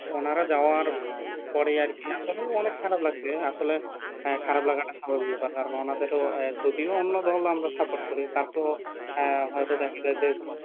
ওনারা যাওয়ার পরে আর কি আসলে অনেক খারাপ লাগছে আসলে খারাপ লাগাটা স্বাভাবিক বা ওনাদেরও যদিও অন্য দল আমরা support করি তার পরেও আহ হয়তো দেখা যায় যে